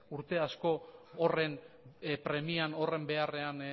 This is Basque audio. urte asko horren premian horren beharrean